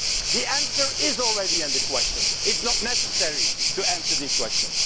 The answer is already in the question, it is not necessary to answer the question.